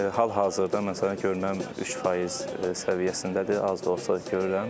Hal-hazırda, məsələn, görməm 3% səviyyəsindədir, az da olsa görürəm.